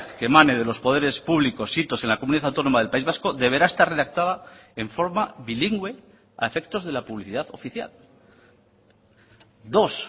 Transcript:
que emane de los poderes públicos sitos en la comunidad autónoma del país vasco deberá estar redactada en forma bilingüe a efectos de la publicidad oficial dos